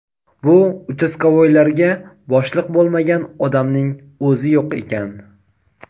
Bu "uchastkovoy"larga boshliq bo‘lmagan odamning o‘zi yo‘q ekan.